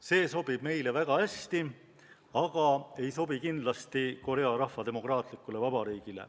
See sobib meile väga hästi, aga ei sobi kindlasti Korea Rahvademokraatlikule Vabariigile.